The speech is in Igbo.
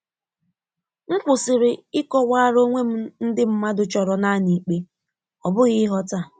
M kwụsịrị ịkọwara onwe m ndị mmadụ chọrọ naanị ikpe, ọ bụghị ịghọta.